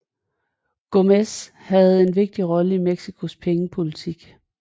Gómez havde en vigtig rolle i Mexicos pengepolitik